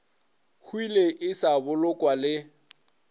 hwile e sa bolokwa le